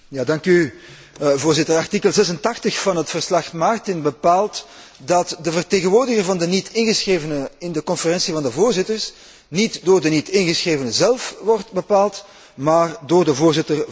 Voorzitter, artikel 86 van het verslag Martin bepaalt dat de vertegenwoordiger van de niet ingeschrevenen in de Conferentie van voorzitters niet door de niet ingeschrevenen zelf wordt bepaald, maar door de Voorzitter van het Parlement.